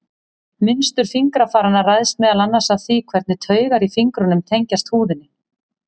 Mynstur fingrafaranna ræðst meðal annars af því hvernig taugar í fingrunum tengjast húðinni.